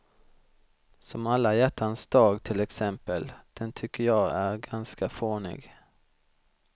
Som alla hjärtans dag till exempel, den tycker jag är ganska fånig.